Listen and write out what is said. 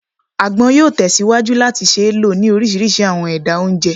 Agbon yoo tesiwaju lati ṣee lo ni orisirisi awọn ẹda onjẹ